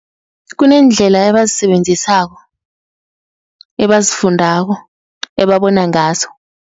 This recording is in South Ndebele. Kuneendlela ebazisebenzisako ebazifundako, ebabona ngazo.